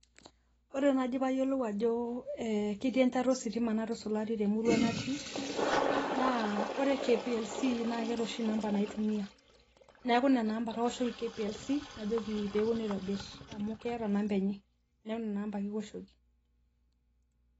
Ore naji payiolou ajo ketii enchata ositima natusulari temurua natii, naa ore KPLC na keeta oshi inambai naitumia. Neeku nena amba ake aoshoki KPLC, najoki peponu aitobir amu keeta namba enye. Neeku nena amba ake iwoshoki.